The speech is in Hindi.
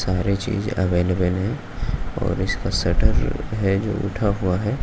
सारे चीज अवैलेबल है और इसका शटर है जो उठा हुआ है।